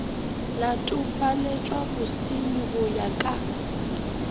latofaletšwa bosernyi go ya ka